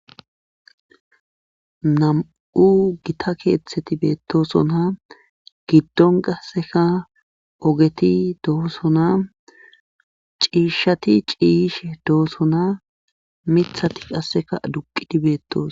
nam7u gita keeththeti beettosona giddon qasseka ogeti dohosona ciishati ciish doosona mithati qasseka duqidi beettoos